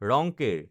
ৰংকেৰ